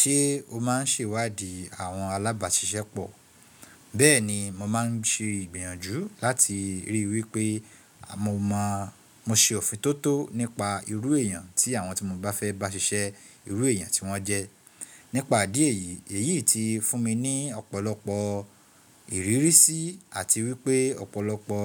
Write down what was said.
Ṣé o má ń ṣèwádìí àwọn alábàáṣiṣẹ́ pọ̀? Bẹ́ẹ̀ni mo má ń ṣe ìgbìyànjú láti rí wípé mo ṣe òfintótó nípa irú èèyàn tí àwọn tí mo bá fẹ́ bá ṣiṣẹ́ irú èèyàn tí wọ́n jẹ́. Nípa ìdí yìí, èyí tí fún mi ní ọ̀pọ̀lọpọ̀ ìrírí sí àti wípé ọ̀pọ̀lọpọ̀